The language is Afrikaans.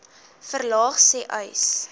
verlaag sê uys